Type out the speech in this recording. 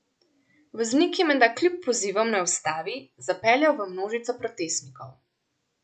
Voznik je menda kljub pozivom, naj ustavi, zapeljal v množico protestnikov.